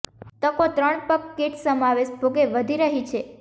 તકો ત્રણ પગ કીટ સમાવેશ ભોગે વધી રહી છે